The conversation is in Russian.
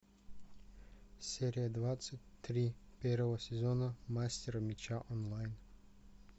серия двадцать три первого сезона мастера меча онлайн